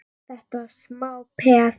Þetta var smá peð!